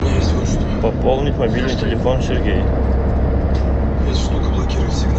пополнить мобильный телефон сергей